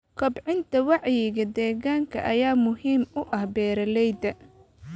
Kobcinta wacyiga deegaanka ayaa muhiim u ah beeralayda.